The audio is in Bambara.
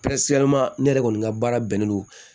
ne yɛrɛ kɔni ka baara bɛnnen don